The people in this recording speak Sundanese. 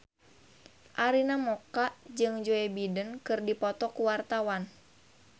Arina Mocca jeung Joe Biden keur dipoto ku wartawan